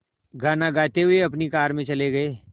गाना गाते हुए अपनी कार में चले गए